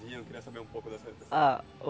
Eu queria saber um pouco dessa dessa